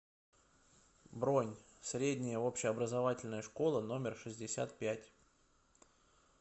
бронь средняя общеобразовательная школа номер шестьдесят пять